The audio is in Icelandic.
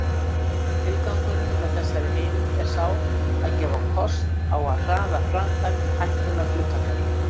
Tilgangurinn með þessari heimild er sá að gefa kost á að hraða framkvæmd hækkunar hlutafjár.